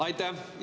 Aitäh!